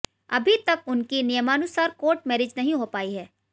अभी तक उनकी नियमानुसार कोर्ट मैरिज नहीं हो पाई है